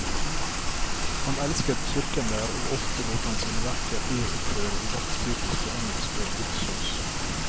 Han elsket kirken der og ofte lot han sine verker uroppføre i dette typiske engelske gudshus.